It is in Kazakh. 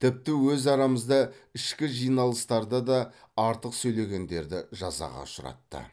тіпті өз арамызда ішкі жиналыстарда да артық сөйлегендерді жазаға ұшыратты